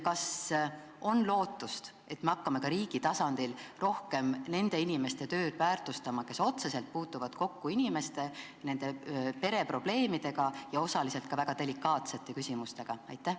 Kas on lootust, et me hakkame ka riigi tasandil rohkem väärtustama nende inimeste tööd, kes otseselt puutuvad kokku inimeste pereprobleemidega ja osaliselt ka väga delikaatsete küsimustega?